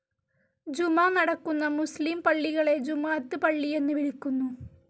ജുമാ നടക്കുന്ന മുസ്ലിം പള്ളികളെ ജുമുഅത്ത് പള്ളി എന്ന് വിളിക്കുന്നു.